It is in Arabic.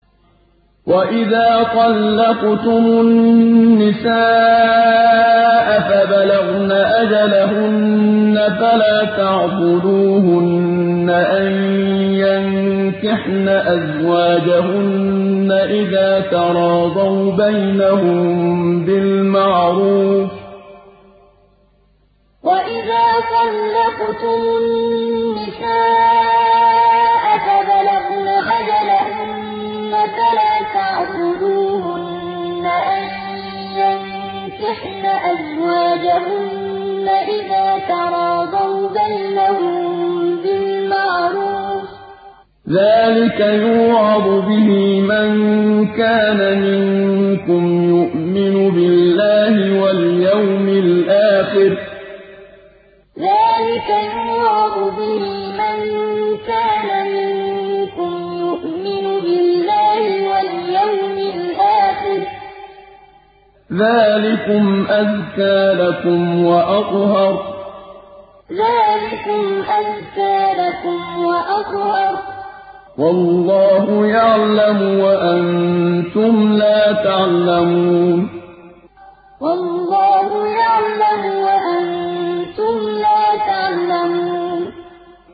وَإِذَا طَلَّقْتُمُ النِّسَاءَ فَبَلَغْنَ أَجَلَهُنَّ فَلَا تَعْضُلُوهُنَّ أَن يَنكِحْنَ أَزْوَاجَهُنَّ إِذَا تَرَاضَوْا بَيْنَهُم بِالْمَعْرُوفِ ۗ ذَٰلِكَ يُوعَظُ بِهِ مَن كَانَ مِنكُمْ يُؤْمِنُ بِاللَّهِ وَالْيَوْمِ الْآخِرِ ۗ ذَٰلِكُمْ أَزْكَىٰ لَكُمْ وَأَطْهَرُ ۗ وَاللَّهُ يَعْلَمُ وَأَنتُمْ لَا تَعْلَمُونَ وَإِذَا طَلَّقْتُمُ النِّسَاءَ فَبَلَغْنَ أَجَلَهُنَّ فَلَا تَعْضُلُوهُنَّ أَن يَنكِحْنَ أَزْوَاجَهُنَّ إِذَا تَرَاضَوْا بَيْنَهُم بِالْمَعْرُوفِ ۗ ذَٰلِكَ يُوعَظُ بِهِ مَن كَانَ مِنكُمْ يُؤْمِنُ بِاللَّهِ وَالْيَوْمِ الْآخِرِ ۗ ذَٰلِكُمْ أَزْكَىٰ لَكُمْ وَأَطْهَرُ ۗ وَاللَّهُ يَعْلَمُ وَأَنتُمْ لَا تَعْلَمُونَ